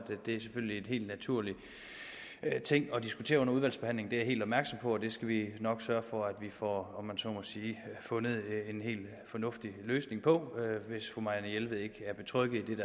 det selvfølgelig er en helt naturlig ting at diskutere det under udvalgsbehandlingen jeg er helt opmærksom på det skal vi nok sørge for at vi får fundet en helt fornuftig løsning på hvis fru marianne jelved ikke er betrygget med